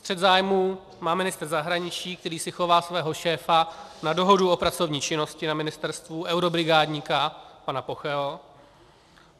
Střet zájmů má ministr zahraničí, který si chová svého šéfa na dohodu o pracovní činnosti na ministerstvu, eurobrigádníka pana Pocheho.